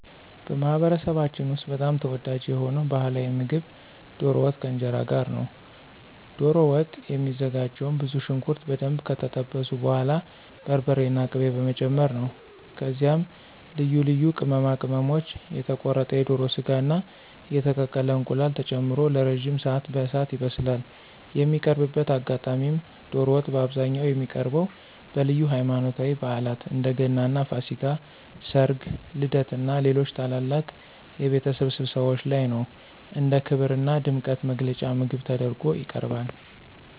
በማኅበረሰባችን ውስጥ በጣም ተወዳጅ የሆነው ባሕላዊ ምግብ ዶሮ ወጥ ከእንጀራ ጋር ነው። ዶሮ ወጥ የሚዘጋጀውም ብዙ ሽንኩርት በደንብ ከጠበሱ በኋላ በርበሬና ቅቤ በመጨመር ነው። ከዚያም ልዩ ልዩ ቅመማ ቅመሞች፣ የተቆረጠ የዶሮ ሥጋና የተቀቀለ እንቁላል ተጨምሮ ለረጅም ሰዓት በእሳት ይበስላል። የሚቀርብበት አጋጣሚም ዶሮ ወጥ በአብዛኛው የሚቀርበው በልዩ ሃይማኖታዊ በዓላት (እንደ ገናና ፋሲካ)፣ ሠርግ፣ ልደትና ሌሎች ታላላቅ የቤተሰብ ስብሰባዎች ላይ ነው። እንደ ክብርና ድምቀት መግለጫ ምግብ ተደርጎ ይቀርባል።